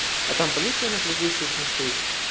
а там полиция на другую соответсвтенно стоит